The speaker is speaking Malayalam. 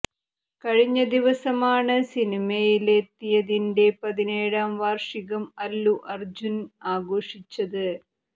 കഴിഞ്ഞ ദിവസമാണ് സിനിമയില് എത്തിയതിന്റെ പതിനേഴാം വാര്ഷികം അല്ലു അര്ജുന് ആഘോഷിച്ചത്